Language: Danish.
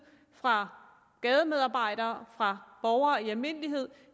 fra gademedarbejderes side og fra borgere i almindelighed